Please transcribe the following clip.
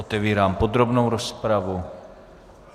Otevírám podrobnou rozpravu.